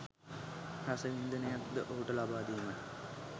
රස වින්දනයක් ද ඔහුට ලබා දීමට